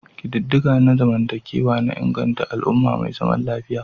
Ƙididdiga na zamantakewa na inganta al'umma mai zaman lafiya.